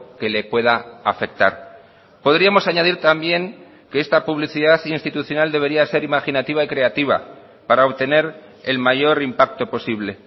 que le pueda afectar podríamos añadir también que esta publicidad institucional debería ser imaginativa y creativa para obtener el mayor impacto posible